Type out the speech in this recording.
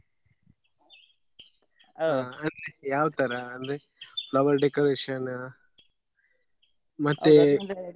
ಹ ಯಾವ್ ತರಾ ಅಂದ್ರೆ flower decoration ನಾ ಮತ್ತೆ .